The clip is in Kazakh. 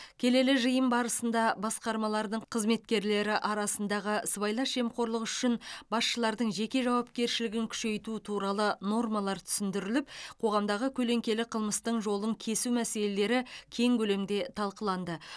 келелі жиын барысында басқармалардың қызметкерлері арасындағы сыбайлас жемқорлық үшін басшылардың жеке жауапкершілігін күшейту туралы нормалар түсіндіріліп қоғамдағы көлеңкелі қылмыстың жолын кесу мәселелері кең көлемде талқыланды